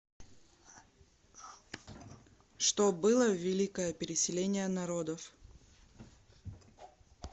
что было в великое переселение народов